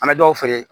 An bɛ dɔw feere